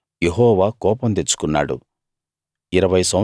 ఆ రోజు యెహోవా కోపం తెచ్చుకున్నాడు